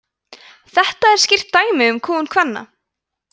þetta er skýrt dæmi um kúgun kvenna